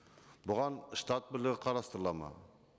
бұған штат бірлігі қарастырылады ма